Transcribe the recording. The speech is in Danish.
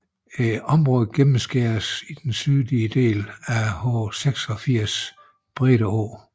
Området gennemskæres i den sydlige del af H86 Brede Å